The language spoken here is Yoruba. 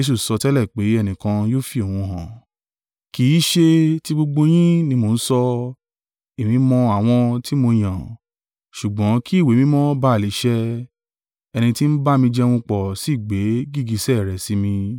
“Kì í ṣe ti gbogbo yín ni mo ń sọ, èmi mọ àwọn tí mo yàn, ṣùgbọ́n kí Ìwé Mímọ́ bá à lè ṣẹ, ‘Ẹni tí ń bá mi jẹun pọ̀ sì gbé gìgísẹ̀ rẹ̀ sí mi.’